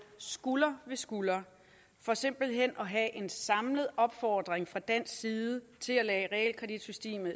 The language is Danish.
skulder ved skulder for simpelt hen at have en samlet opfordring fra dansk side til at lade realkreditsystemet